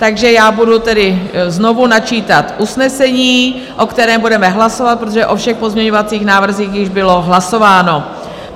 Takže já budu tedy znovu načítat usnesení, o kterém budeme hlasovat, protože o všech pozměňovacích návrzích již bylo hlasováno.